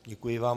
Děkuji vám.